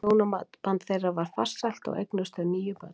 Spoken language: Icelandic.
Hjónaband þeirra var farsælt og eignuðust þau níu börn.